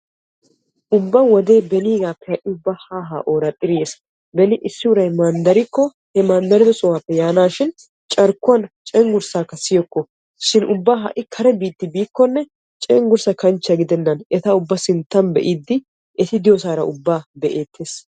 ubba wodee beniigaappe ha'i haa haa ooraxxidi yes. beni issi uray manddarikko he manddariddo sohuwaappe haa yaanaashin carkkuwan cenggursaakka siyokko shin ha'i ubba kare biittaa biikkonne cenggurssa kanchchiyan gidennan eta ubba ayfiyan be'iidi eti diyoosaara ubaa be'eetees.